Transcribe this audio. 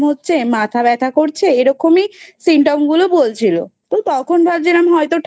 হচ্ছে মাথা ব্যথা করছে এরকমই Symptom গুলো বলছিল তো তখন ভাবছিলাম হয়তো